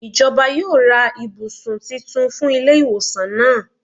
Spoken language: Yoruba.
Ijọba yoo ra awọn ibusun titun fun ile-iwosan naa.